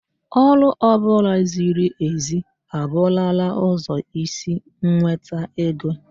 Ọrụ ọ bụla ziri ezi a bụrụla ụzọ isi nweta ego